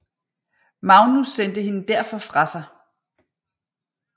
Magnus sendte hende derfor fra sig